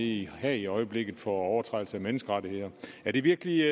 i haag i øjeblikket for overtrædelse af menneskerettigheder er det virkelig